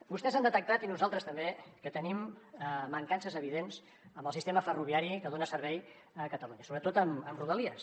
vostès han detectat i nosaltres també que tenim mancances evidents en el sistema ferroviari que dona servei a catalunya sobretot amb rodalies